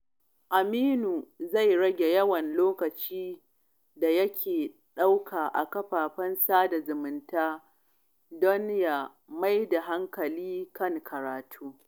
Aminu zai rage yawan lokacin da yake ɗauka a kafafen sada zumunta don ya fi mayar da hankali kan karatu.